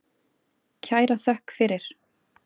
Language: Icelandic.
Kæra þökk fyrir.